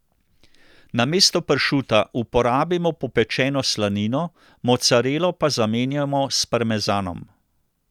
Namesto pršuta uporabimo popečeno slanino, mocarelo pa zamenjamo s parmezanom.